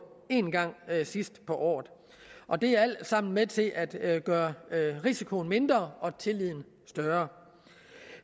en gang sidst på året og det er alt sammen med til at at gøre risikoen mindre og tilliden større